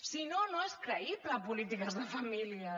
si no no és creïble polítiques de famílies